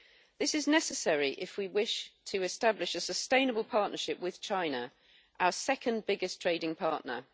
This is necessary if we wish to establish a sustainable partnership with China, our second biggest trading partner.